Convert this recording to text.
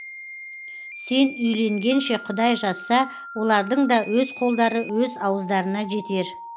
сен үйленгенше құдай жазса олардың да өз қолдары өз ауыздарына жетер